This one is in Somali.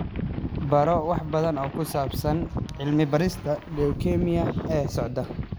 Baro wax badan oo ku saabsan cilmi-baarista leukemia ee socota.